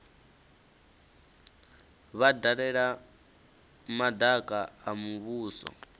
vha dalela madaka a muvhuso